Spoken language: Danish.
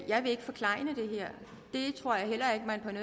jeg vil ikke forklejne det her det tror jeg heller ikke man